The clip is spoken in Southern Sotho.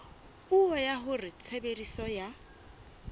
puo ya hore tshebediso ya